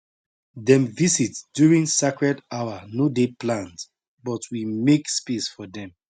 dem visit during sacred hour no dey planned but we make space for dem